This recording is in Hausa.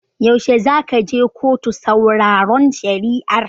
Yaushe zaka je kotu sauraron shari'ar?